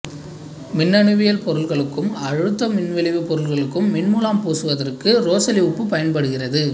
மின்னணுவியல் பொருட்களுக்கும் அழுத்த மின்விளைவு பொருட்களுக்கும் மின்முலாம் பூசுவதற்கு ரோசெல்லி உப்பு பயன்படுகிறது